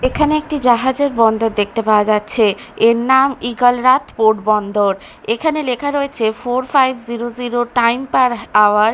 এখানে একটি জাহাজের বন্দর দেখতে পাওয়া যাচ্ছে এর নাম ঈগল রাত পোর্ট বন্দর এখানে লেখা রয়েছে four five zero zero time per hour.